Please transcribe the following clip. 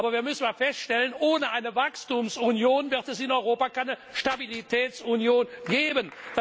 Aber wir müssen feststellen, ohne eine Wachstumsunion wird es in Europa keine Stabilitätsunion geben.